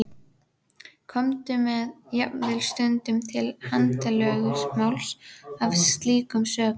Kom jafnvel stundum til handalögmáls af slíkum sökum.